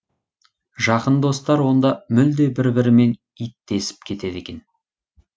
жақын достар онда мүлде бір бірімен иттесіп кетеді екен